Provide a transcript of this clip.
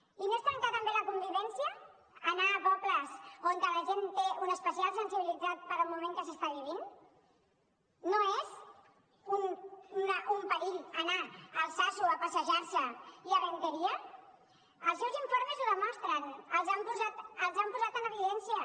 i no és trencar també la convivència anar a pobles on la gent té una especial sensibilitat pel moment que s’està vivint no és un perill anar a altsasu a passejar se i a errenteria els seus informes ho demostren els han posat en evidència